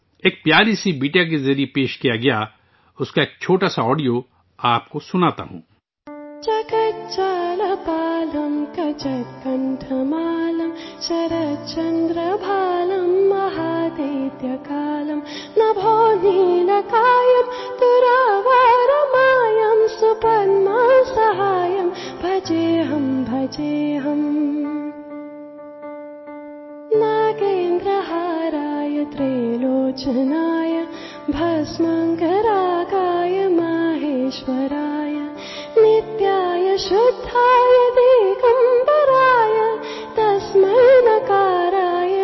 میں آپ کو ایک خوب صورت چھوٹی سی لڑکی کی طرف سے پیش کردہ پریزنٹیشن کا ایک چھوٹا سا آڈیو سناتا ہوں ...